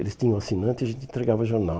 Eles tinham assinantes e a gente entregava jornal.